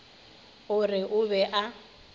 o re o be a